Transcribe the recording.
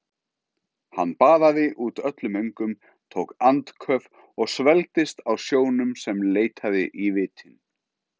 Hann baðaði út öllum öngum, tók andköf og svelgdist á sjónum sem leitaði í vitin.